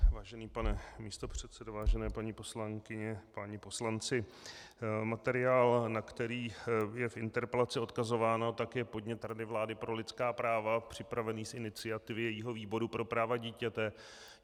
Vážený pane místopředsedo, vážené paní poslankyně, páni poslanci, materiál, na který je v interpelaci odkazováno, tak je podnět Rady vlády pro lidská práva připravený z iniciativy jejího výboru pro práva dítěte.